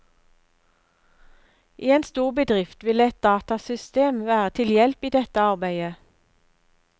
I en stor bedrift vil et datasystem være til hjelp i dette arbeidet.